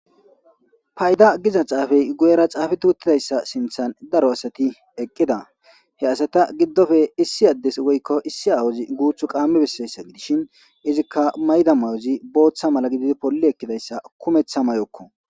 Payda giza caafey guyera caafi tuuttidayssa sinthan daro asati eqqida he asata giddofe issi addes woykko issi awozi guuthu qaammi bessayssa gidishin izikka mayda mayozi booththa mala gididi polli ekkidayssa kumeththa may'okko.